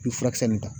I bɛ furakisɛ nin ta